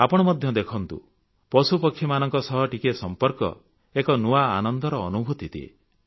ଆପଣ ମଧ୍ୟ ଦେଖନ୍ତୁ ପଶୁପକ୍ଷୀମାନଙ୍କ ସହ ଟିକିଏ ସମ୍ପର୍କ ଏକ ନୂଆ ଆନନ୍ଦର ଅନୁଭୂତି ଦିଏ